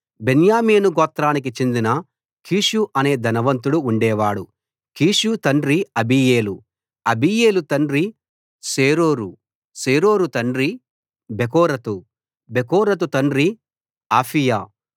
బెన్యామీను గోత్రానికి చెందిన కీషు అనే ధనవంతుడు ఉండేవాడు కీషు తండ్రి అబీయేలు అబీయేలు తండ్రి సేరోరు సేరోరు తండ్రి బెకోరతు బెకోరతు తండ్రి అఫీయా